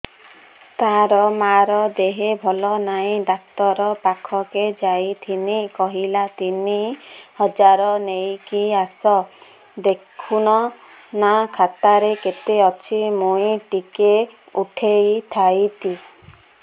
ତାର ମାର ଦେହେ ଭଲ ନାଇଁ ଡାକ୍ତର ପଖକେ ଯାଈଥିନି କହିଲା ତିନ ହଜାର ନେଇକି ଆସ ଦେଖୁନ ନା ଖାତାରେ କେତେ ଅଛି ମୁଇଁ ଟିକେ ଉଠେଇ ଥାଇତି